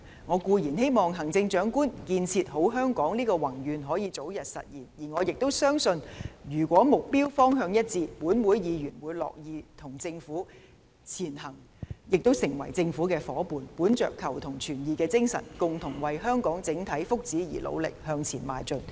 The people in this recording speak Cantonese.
我固然希望行政長官"建設好香港"的宏願可以早日實現，而我亦相信，如果目標方向一致，立法會議員會樂意成為與政府前行的夥伴，本着求同存異的精神，共同為香港整體福祉努力向前邁進。